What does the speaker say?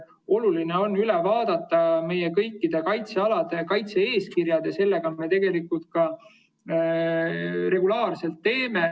Oluline on üle vaadata kõikide kaitsealade kaitse-eeskirjad ja seda me ka regulaarselt teeme.